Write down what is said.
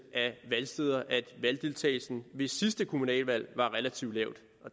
af valgsteder at valgdeltagelsen ved sidste kommunalvalg var relativt lav